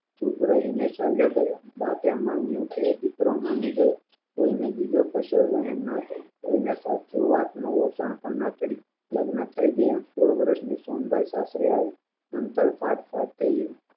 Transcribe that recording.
ચૂપ રહીને ચાલ્યા ગયા બાપે માન્યું કે દીકરો માની ગયો તેમનો બીજો કસો વહેમ નાટો એને પાછો વાતનો રટણ પણ ના કર્યું લગ્ન થાય ગયા સોળ વર્ષ ની સોનબાઇ સાસરે આવી કાટ કાટ થયું